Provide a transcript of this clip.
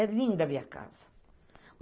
É linda a minha casa.